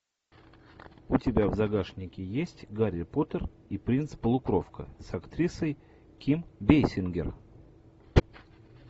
у тебя в загашнике есть гарри поттер и принц полукровка с актрисой ким бессингер